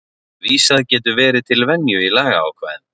Vísað getur verið til venju í lagaákvæðum.